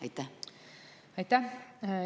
Aitäh!